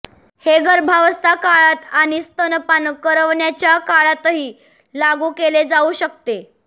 हे गर्भावस्था काळात आणि स्तनपान करवण्याच्या काळातही लागू केले जाऊ शकते